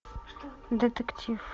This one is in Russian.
детектив